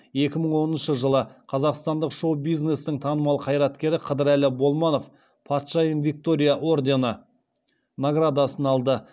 екі мың оныншы жылы қазақстандық шоу бизнестің танымал қайраткері қыдырәлі болманов патшайым виктория ордені наградасын алды